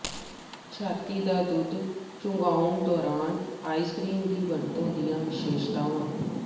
ਛਾਤੀ ਦਾ ਦੁੱਧ ਚੁੰਘਾਉਣ ਦੌਰਾਨ ਆਈਸ ਕ੍ਰੀਮ ਦੀ ਵਰਤੋਂ ਦੀਆਂ ਵਿਸ਼ੇਸ਼ਤਾਵਾਂ